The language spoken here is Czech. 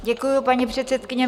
Děkuji, paní předsedkyně.